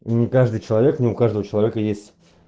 не каждый человек не у каждого человека есть